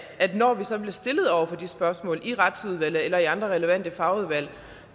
når vi så bliver stillet over for de spørgsmål i retsudvalget eller i andre relevante fagudvalg